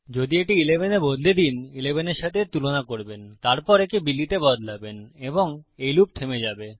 যদি এটি 11 তে বদলে দিন 11 এর সাথে এর তুলনা করবেন তারপর একে বিলি তে বদলাবেন এবং এই লুপ থেমে যাবে